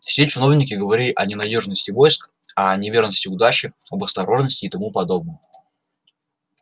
все чиновники говорили о ненадёжности войск о неверности удачи об осторожности и тому подобном